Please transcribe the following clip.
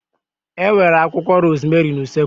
E nwere akwụkwọ rozmerị n'usekwu